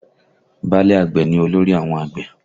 Báálẹ̀ àgbẹ̀ ni olórí àwọn àgbẹ̀